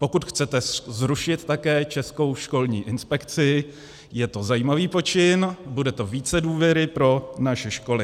Pokud chcete zrušit také Českou školní inspekci, je to zajímavý počin, bude to více důvěry pro naše školy.